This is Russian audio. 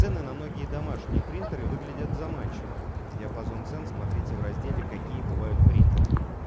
цены на многие домашние принтеры выглядят заманчиво диапазон цен смотрите в разделе какие бывают принтеры